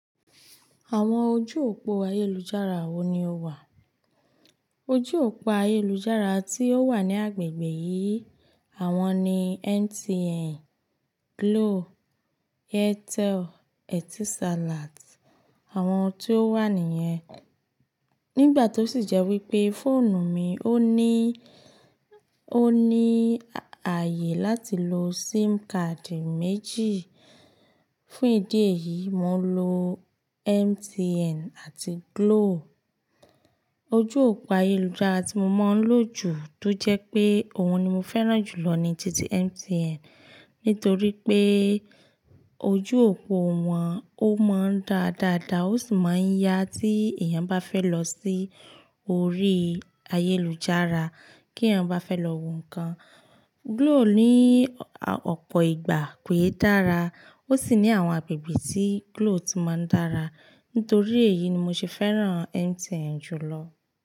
Àwọn ojú òpó ayélujára wo ni ó wà? Ojú òpó ayélujára tí ó wà ní agbègbè yìí, àwọn ni MTN, Glo, Airtel, Etisalat, àwọn tí ó wà nìyẹn. Nígbà tó sì jẹ́ wípé fóònù mi ó ní, ó ní ààyè láti lo SIM card méjì. Fún ìdí èyí, mo ń lo MTN àti Glo. Ojú òpó ayélujára tí mo mọ̀ ń lò jù tó jẹ́ pé òun ni mo fẹ́ràn jùlọ ni ti MTN. Nítorí pé ojú òpó wọn a máa ń dáadáa dáa, ó sì máa ń ya tí èèyàn bá fẹ́ lọ sí orí ayélujára, kí èèyàn bá fẹ́ lọ wo nnkan. Glo ní ọ̀pọ̀ ìgbà pé dára, ó sì ní àwọn agbègbè tí Glo tí máa ń dára. Nítorí èyí ni mo ṣe fẹ́ràn MTN jùlọ.